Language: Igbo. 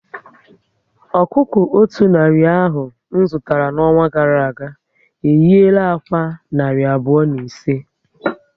Ọkụkọ o otú narị ahụ zụtara n'ọnwa gara aga, ehiera ákwá narị abụọ na ise